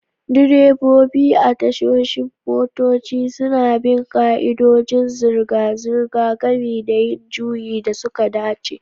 Direbobi a tashoshin motoci suna bin ƙa'idodin zirga-zirga, gami da yin juyi da suka dace.